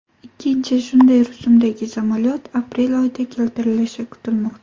Ikkinchi shunday rusumdagi samolyot aprel oyida keltirilishi kutilmoqda.